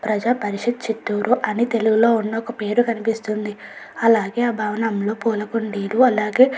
ప్రజాపరిషత్ చిత్తూరు అని తెలుగులో ఉన్న ఒక పేరు కనిపిస్తుంది. అలాగే భవనంలో పూలకుండీలు అలాగే --